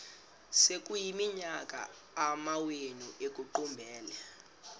sekuyiminyaka amawenu ekuqumbele